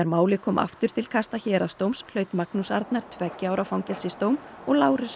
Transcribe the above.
málið kom aftur til kasta héraðsdóms hlaut Magnús Arnar tveggja ára fangelsisdóm og Lárus